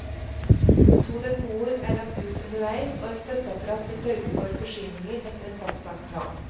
To depoter er lagt ut underveis, og et støtteapparat vil sørge for forsyninger etter en fastlagt plan.